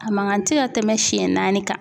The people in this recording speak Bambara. A mankan tɛ ka tɛmɛ siɲɛ naani kan.